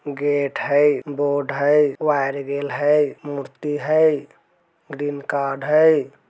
गेट हइ बोर्ड हई वायर गेल हई मूर्ति हई कार्ड हई |